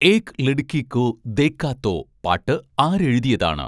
ഏക് ലഡ്കി കോ ദേഖാ തോ പാട്ട് ആരെഴുതിയതാണ്